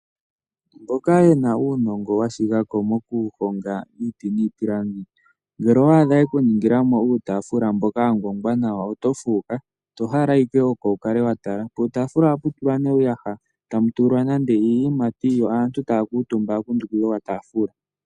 Mboka yena uunongo washigako mokuhonga iiti niipilangi ngele owaadha yekuningilamo uutaafula mboka wangongwa nawa oto fuuka tohala ike oko wukale watala. Puutaafula ohapu tula ne uuhaya tamutulwa nande iiyimati yo aantu tayakuutumba yakundukila okataafula.